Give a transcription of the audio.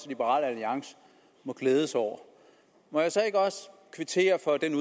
liberal alliance må glæde sig over må jeg så ikke også kvittere for den